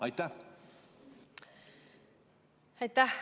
Aitäh!